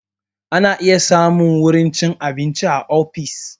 Ana iya samun wurin cin abinci a ofis